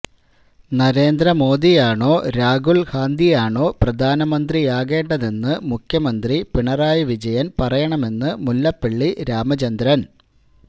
നരേന്ദ്രമോദിയാണോ രാഹുൽ ഗാന്ധിയാണോ പ്രധാനമന്ത്രിയാകേണ്ടതെന്ന് മുഖ്യമന്ത്രി പിണറായി വിജയൻ പറയണമെന്ന് മുല്ലപ്പള്ളി രാമചന്ദ്രൻ